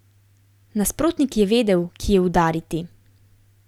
Nasprotnik je vedel, kje udariti.